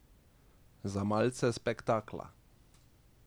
Za malce spektakla.